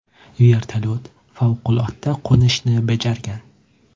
Vertolyot favqulodda qo‘nishni bajargan.